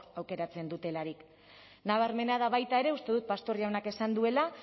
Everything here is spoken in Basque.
aukeratzen dutelarik nabarmena da baita ere uste dut pastor jaunak esan duela